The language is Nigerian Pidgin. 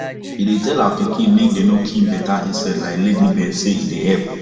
she dey tell her pikin make dem no kill beta insect like ladybird say e dey help